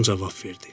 İlan cavab verdi.